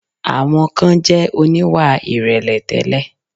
Àwọn kan jẹ̀ oníwà ìrẹ̀lẹ̀ tẹ́lẹ̀.